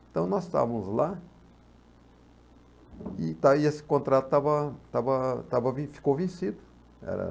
Então, nós estávamos lá e dai esse contrato estava, estava, estava, ficou vencido. Eh